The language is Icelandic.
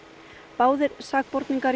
báðir sakborningar